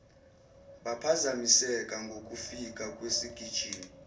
baphazamiseka ngokufika kwesigijimi